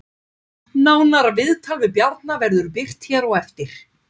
Nánara viðtal við Bjarna verður birt hér á eftir